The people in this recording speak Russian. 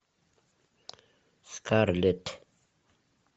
скарлетт